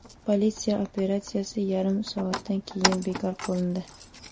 Politsiya operatsiyasi yarim soatdan keyinoq bekor qilindi.